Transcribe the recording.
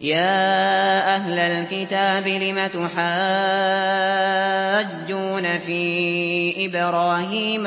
يَا أَهْلَ الْكِتَابِ لِمَ تُحَاجُّونَ فِي إِبْرَاهِيمَ